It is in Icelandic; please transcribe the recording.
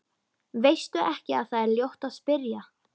Veistu ekki að það er ljótt að spyrja?